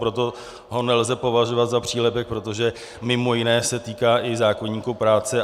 Proto ho nelze považovat za přílepek, protože mimo jiné se týká i zákoníku práce.